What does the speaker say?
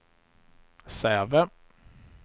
Säve